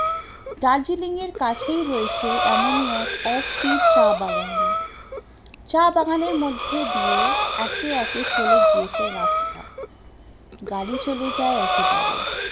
দার্জেলিং এর কাছেই রয়েছে এমনই এক Ofbit চা বাগান, চা বাগান এর মধ্যে দিয়ে একে একে চলে গিয়েছে রাস্তা, গাড়ি চলে যায় একেবারে